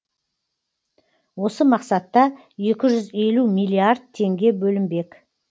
осы мақсатта екі жүз елу миллиард теңге бөлінбек